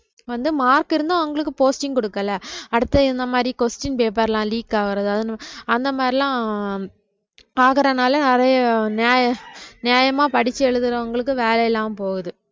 வந்து mark இருந்தும் அவங்களுக்கு posting குடுக்கலை அடுத்து இந்த மாரி question paper லாம் leak ஆகுறது அதுன்னு அந்த மாதிரியெல்லாம் பாக்குறதுனால நிறைய நியாய~ நியாயமா படிச்சு எழுதுறவங்களுக்கு வேலை இல்லாம போகுது